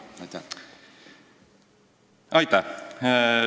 Aitäh!